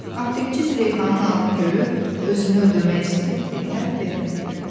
Aptekçi Züleyxanın alnı görüb özünü öldürmək istəyir deyə, vermədi.